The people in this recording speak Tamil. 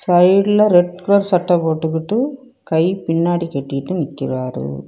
சைடுல ரெட் கலர் சட்டை போட்டுக்குட்டு கை பின்னாடி கட்டிக்கிட்டு நிக்கிறாரு.